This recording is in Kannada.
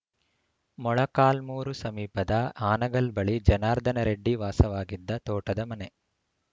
ಮೊಳಕಾಲ್ಮುರು ಸಮೀಪದ ಹಾನಗಲ್‌ ಬಳಿ ಜನಾರ್ದನರೆಡ್ಡಿ ವಾಸವಾಗಿದ್ದ ತೋಟದ ಮನೆ